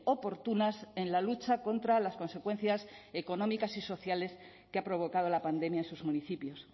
oportunas en la lucha contra las consecuencias económicas y sociales que ha provocado la pandemia en sus municipios